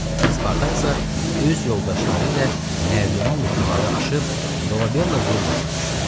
Spartaksa öz yoldaşları ilə nərdivanla divarı aşıb Dolabella villasına düşdü.